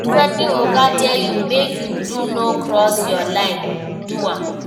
If wetin oga tell you make you do no cross your lane, do am